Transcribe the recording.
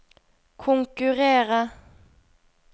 konkurrere